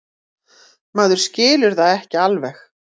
Maður skilur það ekki alveg.